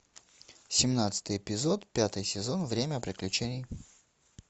семнадцатый эпизод пятый сезон время приключений